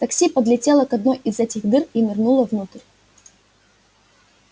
такси подлетело к одной из этих дыр и нырнуло внутрь